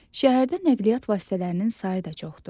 Şəhərdə nəqliyyat vasitələrinin sayı da çoxdur.